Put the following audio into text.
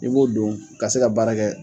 I b'o don ka se ka baara kɛ